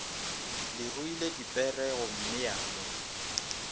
le ruile dipere gommea mo